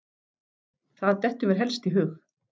Það dettur mér helst í hug.